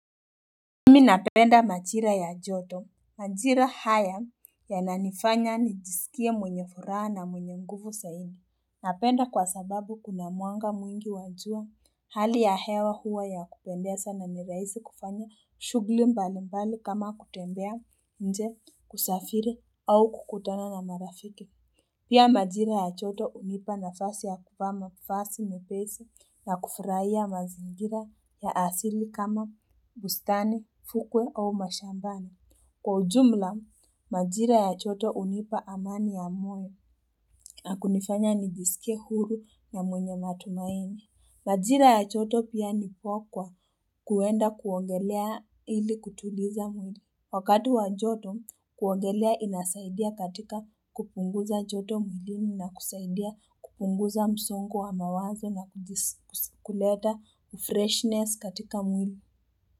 Mimi napenda majira ya joto, majira haya yananifanya nijisikie mwenye furaa na mwenye nguvu saimi. Napenda kwa sababu kuna mwanga mwingi wa jua hali ya hewa huwa ya kupendesa na ni raisi kufanya shughli mbali mbali kama kutembea nje kusafiri au kukutana na marafiki. Pia majira ya choto unipa na fasi ya kupa mafasi mepesa na kufurai ya mazingira ya asili kama bustani, fukwe au mashambani. Kwa ujumla, majira ya choto unipa amani ya moyo na kunifanya nijiskie huru na mwenye matumaini. Majira ya choto pia nipoa kwa kuenda kuogelea ili kutuliza mwenye. Wakati wa joto kuogelea inasaidia katika kupunguza joto mwilini na kusaidia kupunguza msongo wa mawazo na kuleta freshness katika mwili.